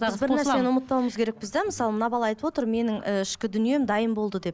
біз бір нәрсені ұмытпауымыз керекпіз де мысалы мына бала айтып отыр менің і ішкі дүнием дайын болды деп